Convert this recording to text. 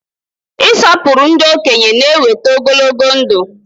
Ị sọpụrụ ndị okenye na-eweta ogologo ndụ.